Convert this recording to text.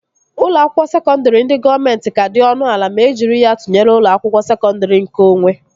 Ụlọ akwụkwọ sekọndri ndị gọọmenti ka dị ọnụ ala ma e jiri ya tụnyere ụlọ akwụkwọ sekọndri nkeonwe